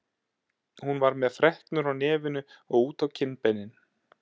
Hún var með freknur á nefinu og út á kinnbeinin.